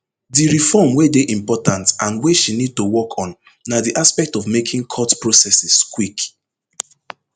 di reform wey dey important and wey she need to work on na di aspect of making court processes quick